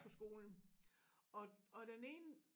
På skolen og og den ene